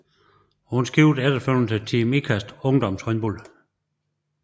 Hun skiftede efterfølgende til Team Ikasts ungdomshold